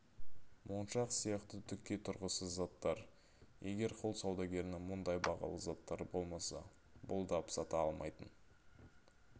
моншақ сияқты түкке тұрғысыз заттар егер құл саудагерінің мұндай бағалы заттары болмаса бұлдап сата алмайтын